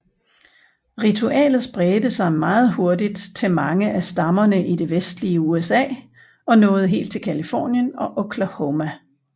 Ritualet spredte sig meget hurtigt til mange af stammerne i det vestlige USA og nåede helt til Californien og Oklahoma